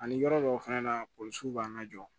Ani yɔrɔ dɔw fana na polisiw b'an ka jɔ